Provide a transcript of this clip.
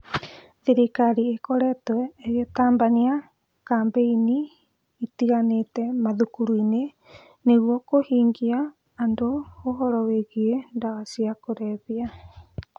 Thirikari ĩkoretwo ĩgĩtabania kambĩini itiganĩte mathukuru-inĩ nĩguo kũhĩgia andũ ũhoro wĩgiĩ ndawa cia kũrebia